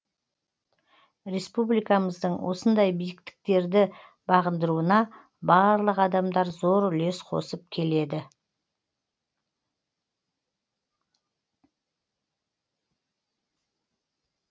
республикамыздың осындай биіктіктерді бағындыруына барлық адамдар зор үлес қосып келеді